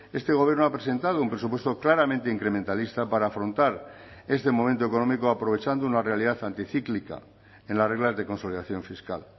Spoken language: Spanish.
este gobierno ha presentado un presupuesto claramente incrementalista para afrontar este momento económico aprovechando una realidad anticíclica en las reglas de consolidación fiscal